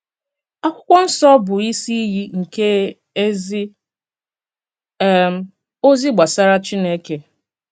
Àkwụ́kwọ́ Nsọ́ bụ́ ìsì íyì nke èzì um òzì gbasàrà Chínèkè.